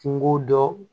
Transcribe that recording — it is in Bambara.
Kungo dɔ